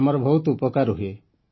ଆମର ବହୁତ ଉପକାର ହୁଏ